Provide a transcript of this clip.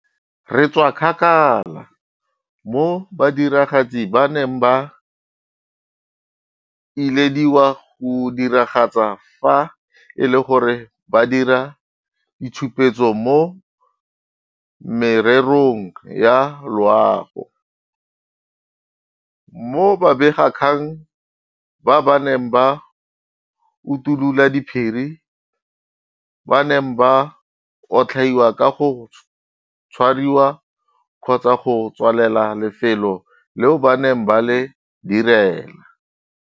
Re tswa kgakala mo badiragatsi ba neng ba ilediwa go diragatsa fa e le gore ba dira ditshupetso mo mererong ya loago, mo babegakgang ba ba neng ba utulola diphiri ba neng ba otlhaiwa ka go tshwariwa kgotsa go tswalela lefelo leo ba neng ba le direla.